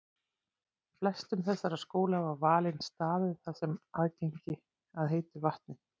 Flestum þessara skóla var valinn staður þar sem aðgengi var að heitu vatni.